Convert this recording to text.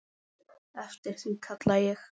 Eftir því kalla ég.